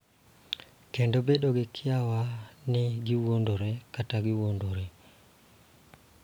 Kendo bedo gi kiawa ni giwuondore kata giwuondore.